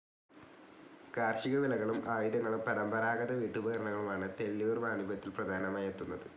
കാർഷിക വിളകളും ആയുധങ്ങളും പരമ്പരാഗത വീട്ടുപകരണങ്ങളും ആണ് തെള്ളിയൂർ വാണിഭത്തിൽ പ്രധാനമായി എത്തുന്നത്.